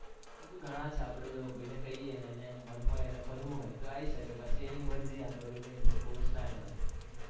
હજુ ગણા છે આપણા જેવા કોઈને કઈએ એને મન હોય અને ફરવું હોય તો આઈ સકે પછી એની મરજી આપણે બંને force ના કરાય.